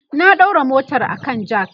na daura motar a kan jack